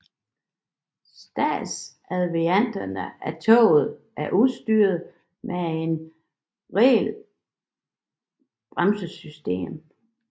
Standardvarianterne af toget er udstyret med et regenerativt bremsesystem